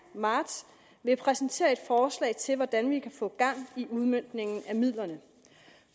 marts ville præsentere et forslag til hvordan vi kan få gang i udmøntningen af midlerne